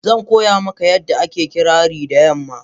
Zan koya maka yanda ake ƙirari da yamma.,